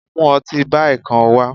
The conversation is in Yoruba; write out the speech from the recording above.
mu otí Bai kán wa